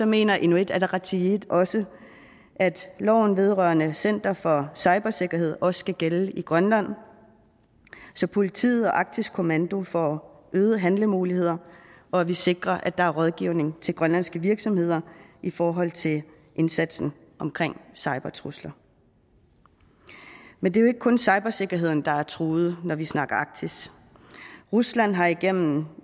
mener inuit ataqatigiit også at loven vedrørende center for cybersikkerhed også skal gælde i grønland så politiet og arktisk kommando får øgede handlemuligheder og vi sikrer at der er rådgivning til grønlandske virksomheder i forhold til indsatsen omkring cybertrusler men det er jo ikke kun cybersikkerheden der er truet når vi snakker arktis rusland har igennem